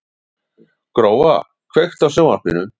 Gróa, kveiktu á sjónvarpinu.